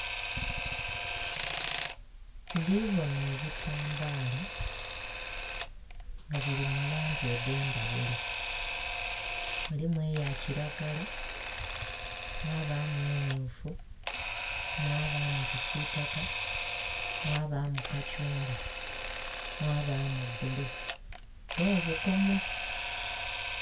Ndhibona ebitambala nga bili mu langi edhendhaghulo mulimu eya kilagala, mwabamu emyufu, mwabamu kisitaka, mwabamu kathungwa, mwabamu bbulu nho bukomo.